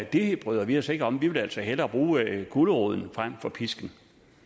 det bryder vi os ikke om vi vil altså hellere bruge guleroden frem for pisken